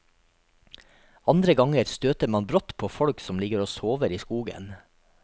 Andre ganger støter man brått på folk som ligger og sover i skogen.